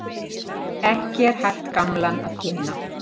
Ekki er hægt gamlan að ginna.